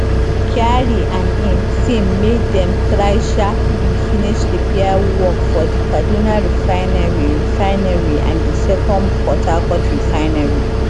kyari and im team make dem try sharply finish repair work for di kaduna refinery refinery and di second port harcourt refinery